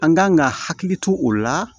An kan ka hakili to o la